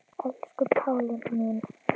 Elsku Pálína mín.